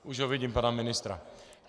Už ho vidím, pana ministra.